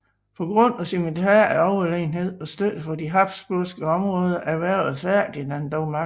På grund af sin militære overlegenhed og støtte fra de habsburgske områder erhvervede Ferdinand dog magten